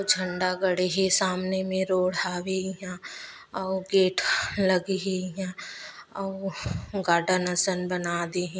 --छ झंडा गड़े हे सामने मे रोड हावे इया अउ गेट लगे हे इया अउ गार्डन असन बना दे हे।